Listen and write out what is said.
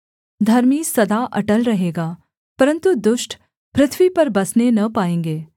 धर्मी सदा अटल रहेगा परन्तु दुष्ट पृथ्वी पर बसने न पाएँगे